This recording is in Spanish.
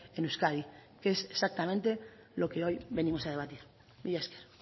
en euskadi que es exactamente lo que hoy venimos a debatir milla esker